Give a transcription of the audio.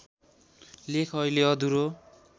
लेख अहिले अधुरो